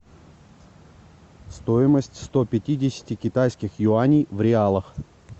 стоимость ста пятидесяти китайских юаней в реалах